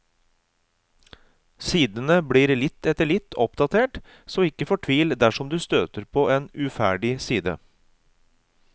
Sidene blir litt etter litt oppdatert, så ikke fortvil dersom du støter på en uferdig side.